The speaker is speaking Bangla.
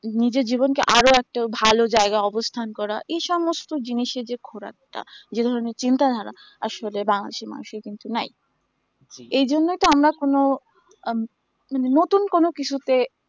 নিজের জীবনকে আরও একটা ভালো জায়গায় অবস্থান করা এই সমস্ত জিনিসের যে ঘোর একটা যে ধরনের চিন্তাধারা আসলে বাংলাদেশের মানুষের কিন্তু নয় এই জন্য তো আমরা কোন আম নতুন কোন কিছুতে